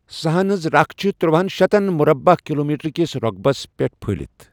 سہن ہنز ركھ چھِ ترٛوہن شتن مۄربعہٕ کِلومیٹر کِس رۄقبَس پٮ۪ٹھ پٔھہلِتھ ۔